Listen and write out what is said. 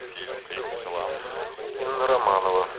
инна романова